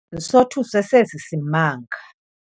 Sothuswe sesi simanga.